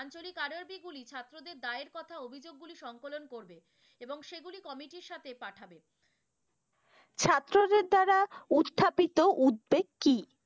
গুলি ছাত্রদের দায়ের কথা অভিযোগ গুলি সংকলন করবে এবং সেগুলি committee ইর সাথে পাঠাবে। ছাত্রদের দ্বারা উপস্থাপিত উদ্বেগ কি?